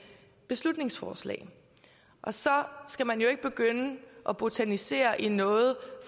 beslutningsforslag og så skal man jo ikke begynde at botanisere i noget